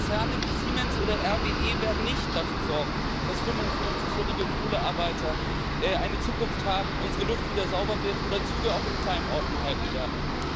Konzerne wie Siemens oder RWE werden nicht dafür sorgen, dass 55 jährige Kohlearbeiter eine Zukunft haben, unsere Luft wieder sauber wird oder Züge auch in kleinen Orten halten werden.